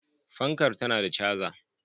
Fankar tana da caza.